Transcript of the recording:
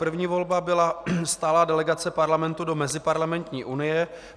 První volba byla stálá delegace Parlamentu do Meziparlamentní unie.